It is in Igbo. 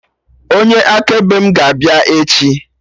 Onye akaebe mụ ga-abịa echi